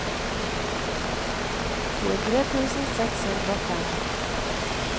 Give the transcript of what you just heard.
tjuetre tusen seks hundre og fem